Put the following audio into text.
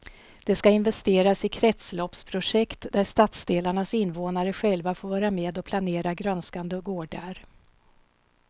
Det ska investeras i kretsloppsprojekt där stadsdelarnas invånare själva får vara med och planera grönskande gårdar.